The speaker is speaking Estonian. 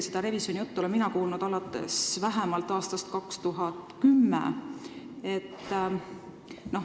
Seda revisjonijuttu olen mina kuulnud alates vähemalt aastast 2010.